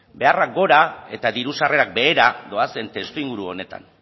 beharrak gora eta diru sarrerak behera doazen testuinguru honetan